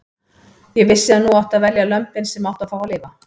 Ég vissi að nú átti að velja lömbin sem áttu að fá að lifa.